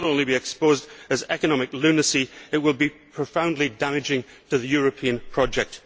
Not only will it be exposed as economic lunacy, but it will be profoundly damaging to the European project.